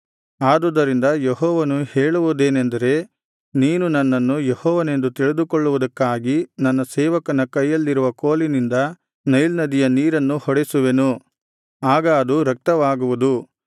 ಆದುದರಿಂದ ಯೆಹೋವನು ಹೇಳುವುದೇನೆಂದರೆ ನೀನು ನನ್ನನ್ನು ಯೆಹೋವನೆಂದು ತಿಳಿದುಕೊಳ್ಳುವುದಕ್ಕಾಗಿ ನನ್ನ ಸೇವಕನ ಕೈಯಲ್ಲಿರುವ ಕೋಲಿನಿಂದ ನೈಲ್ ನದಿಯ ನೀರನ್ನು ಹೊಡೆಸುವೆನು ಆಗ ಅದು ರಕ್ತವಾಗುವುದು